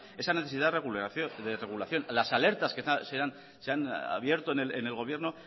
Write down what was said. esa necesidad de regulación las alertas que se han abierto en el gobierno